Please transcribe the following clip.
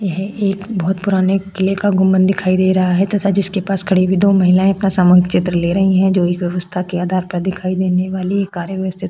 यह एक बहुत पुराने किल्ले का गुम्बद दिखाई दे रहा है तथा जिसके पास खड़े हुए दो महिलाएं का सामूहिक चित्र ले रही हैं जो इस व्यवस्था के आधार पर दिखाई देने वाली ये कार्य व्यवस्थिक में है।